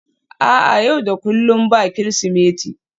a'a, yau da kullum ba Kirsimeti